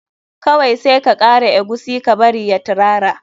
Kawai sai ka kara eguisi ka bari ya tirara.